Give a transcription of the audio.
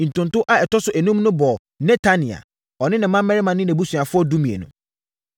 Ntonto a ɛtɔ so enum no bɔɔ Netania, ɔne ne mmammarima ne nʼabusuafoɔ (12)